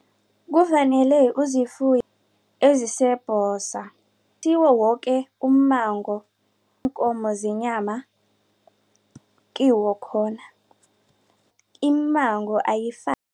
Kufanele ezisebhosa kuthiwa woke ummango weenkomo zenyama kiwekhona iimmango